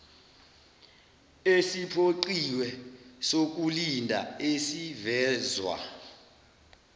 esiphoqiwe sokulinda esivezwa